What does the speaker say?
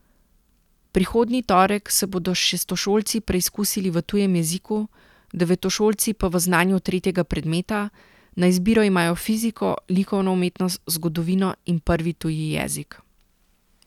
Prihodnji torek se bodo šestošolci preizkusili v tujem jeziku, devetošolci pa v znanju tretjega predmeta, na izbiro imajo fiziko, likovno umetnost, zgodovino in prvi tuji jezik.